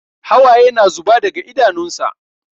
Hawaye na zuba daga idanunsa.